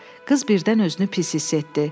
Qız birdən özünü pis hiss etdi.